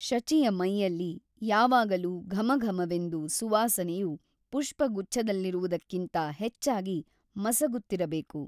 ಶಚಿಯ ಮೈಯಲ್ಲಿ ಯಾವಾಗಲೂ ಘಮಘಮವೆಂದು ಸುವಾಸನೆಯು ಪುಷ್ಪಗುಚ್ಛದಲ್ಲಿರುವುದಕ್ಕಿಂತ ಹೆಚ್ಚಾಗಿ ಮಸಗುತ್ತಿರಬೇಕು.